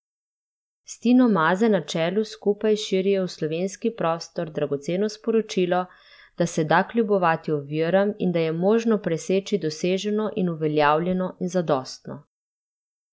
S Tino Maze na čelu skupaj širijo v slovenski prostor dragoceno sporočilo, da se da kljubovati oviram in da je možno preseči doseženo in uveljavljeno in zadostno.